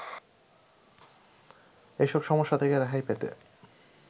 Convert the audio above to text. এসব সমস্যা থেকে রেহাই পেতে